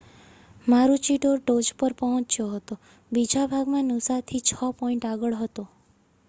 મારુચિડોર ટોચ પર પહોચ્યો હતો બીજા ભાગમાં નૂસાથી છ પૉઇન્ટ આગળ હતો